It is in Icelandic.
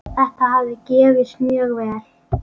Þetta hafi gefist mjög vel.